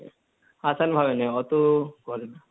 hindi ভাবে নেয়, অত পরে না।